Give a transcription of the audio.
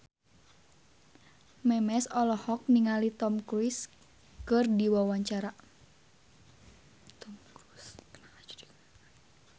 Memes olohok ningali Tom Cruise keur diwawancara